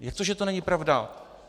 Jak to, že to není pravda?